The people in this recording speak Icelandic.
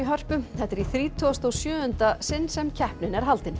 Hörpu þetta er í þrítugasta og sjöunda sinn sem keppnin er haldin